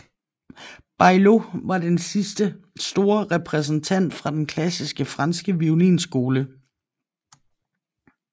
Baillot var den sidste store repræsentant for den klassiske franske violinskole